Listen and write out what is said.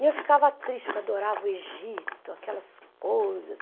E eu ficava triste, porque eu adorava o Egito, aquelas coisas.